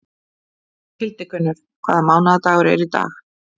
Hildigunnur, hvaða mánaðardagur er í dag?